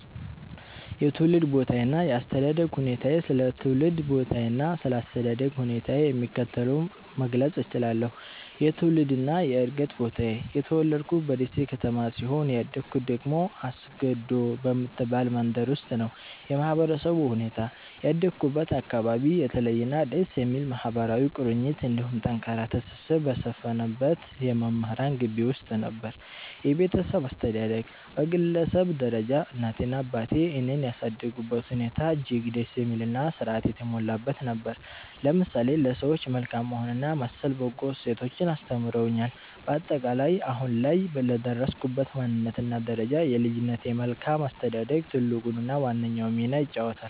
የትውልድ ቦታዬና የአስተዳደግ ሁኔታዬ ስለ ትውልድ ቦታዬና ስለ አስተዳደግ ሁኔታዬ የሚከተለውን መግለጽ እችላለሁ፦ የትውልድና የዕድገት ቦታዬ፦ የተወለድኩት በደሴ ከተማ ሲሆን፣ ያደግኩት ደግሞ አስገዶ በምትባል መንደር ውስጥ ነው። የማህበረሰቡ ሁኔታ፦ ያደግኩበት አካባቢ የተለየና ደስ የሚል ማህበራዊ ቁርኝት እንዲሁም ጠንካራ ትስስር በሰፈነበት የመምህራን ግቢ ውስጥ ነበር። የቤተሰብ አስተዳደግ፦ በግለሰብ ደረጃ እናቴና አባቴ እኔን ያሳደጉበት ሁኔታ እጅግ ደስ የሚልና ሥርዓት የተሞላበት ነበር፤ ለምሳሌ ለሰዎች መልካም መሆንንና መሰል በጎ እሴቶችን አስተምረውኛል። ባጠቃላይ፦ አሁን ላይ ለደረስኩበት ማንነትና ደረጃ የልጅነቴ መልካም አስተዳደግ ትልቁንና ዋነኛውን ሚና ይይዛል።